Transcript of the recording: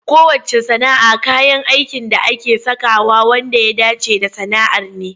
Kowacce sana'a kayan aikin da ake sakawa wanda ya dace da sana'ar ne.